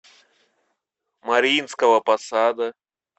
мариинского посада